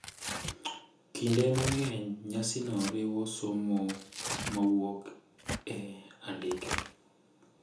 Kinde mang’eny, nyasino oriwo somo ma wuok e andike .